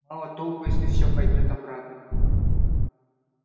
мало толку если всё пойдёт обратно